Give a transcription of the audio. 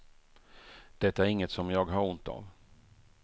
Det är inget som jag har ont av.